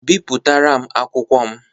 Bipụtara m akwụkwọ m!